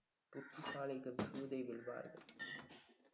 புத்திசாலிகள் சூதை வெல்வார்கள்